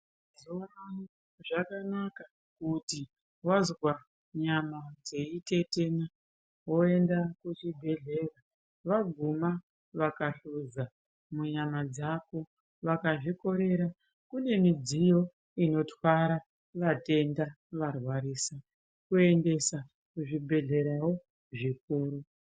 Mazuva anaya zvakanaka kuti wazwa nyama dzeitetena woenda kuchibhedhlera. Vaguma vakahluza munyama dzako vakazvikorera, kune midziyo inotwara vatenda varwarisa kuendesa kuzvibhedhlerawo zvikuru.